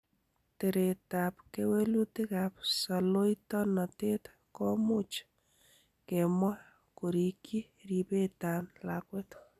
Teretab kewelutikab soloitonotet, komuch kemwa kerikyi ribetan lakwet.